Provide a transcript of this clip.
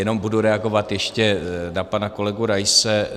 Jenom budu reagovat ještě na pana kolegu Raise.